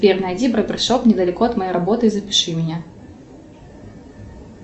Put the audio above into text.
сбер найди барбершоп недалеко от моей работы и запиши меня